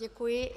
Děkuji.